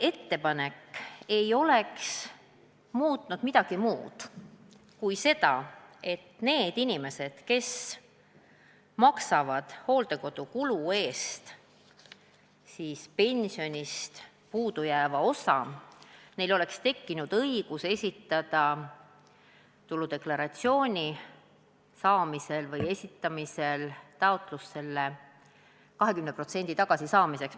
Minu ettepanek ei oleks muutnud midagi muud kui seda, et neil inimestel, kes maksavad hooldekodukulust selle osa, milleks pensionist ei piisa, oleks tekkinud õigus esitada tuludeklaratsioonis taotlus 20% tagasisaamiseks.